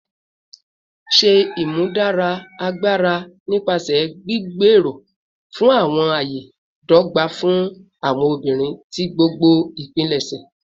Ṣe imudara agbara nipasẹ gbigbero fun awọn aye dogba fun awọn obinrin ti gbogbo ipilẹṣẹ